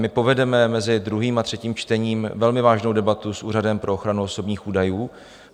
My povedeme mezi druhým a třetím čtením velmi vážnou debatu s Úřadem pro ochranu osobních údajů.